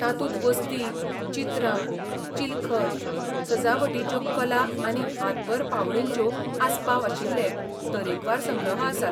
तातूंत वस्ती, चित्रां, चिलखत, सजावटीच्यो कला आनी हातबरपावळींचो आसपाव आशिल्ले तरेकवार संग्रह आसात.